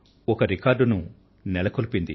ఒక రికార్డును నెలకొల్పారు